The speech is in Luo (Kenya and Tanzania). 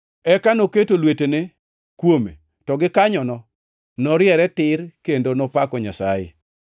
Eka noketo lwetene kuome, to gikanyono noriere tir kendo nopako Nyasaye.